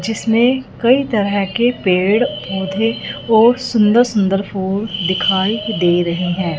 जिसमें कई तरह के पेड़ पौधे और सुंदर सुंदर फूल दिखाई दे रहे हैं।